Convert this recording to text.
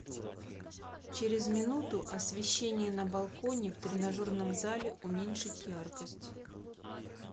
через минуту освещение на балконе в тренажерном зале уменьшить яркость